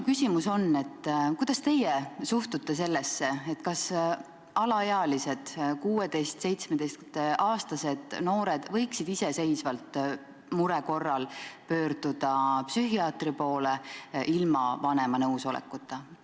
Kuidas teie suhtute sellesse, kas alaealised, 16–17-aastased noored võiksid mure korral iseseisvalt pöörduda psühhiaatri poole, ilma vanema nõusolekuta?